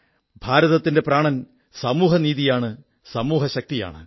ഭാരതത്തിന്റെ പ്രാണൻ സമൂഹനീതിയാണ് സമൂഹശക്തിയാണ്